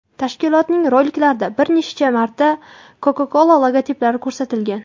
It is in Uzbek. Tashkilotning roliklarida bir necha marta Coca-Cola logotiplari ko‘rsatilgan.